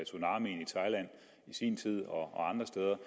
sin tid og andre steder